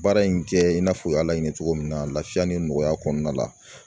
Baara in jɛ i n'a fɔ u y'a laɲini cogo min na laafiya ni nɔgɔya kɔnɔna la